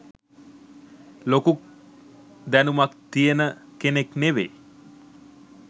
ලොකු දැනුමක් තියෙන කෙනෙක් නෙවේ.